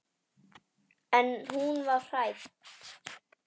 En hún var hrædd.